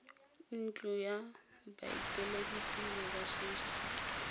ntlo ya baeteledipele ba setso